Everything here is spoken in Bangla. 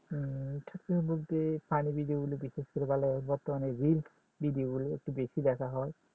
উম shortflim বলতে funnyvideo গুলো দেখা বর্তমানে reels video গুলো একটু দেখা হয়